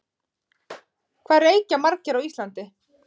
Hvað reykja margir á Íslandi?